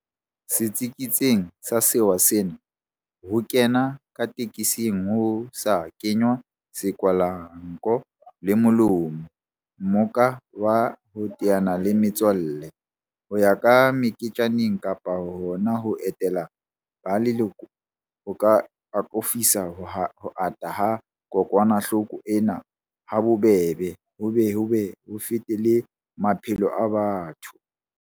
Setsiketsing sa sewa sena, ho kena ka tekesing ho sa kenngwa sekwahelanko le molomo, mmoka wa ho teana le metswalle, ho ya meketjaneng kapa hona ho etela ba leloko, ho ka akofisa ho ata ha kokwanahloko ena habobebe ho be ho fete le maphelo a batho.